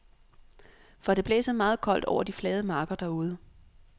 For det blæser meget koldt over de flade marker derude.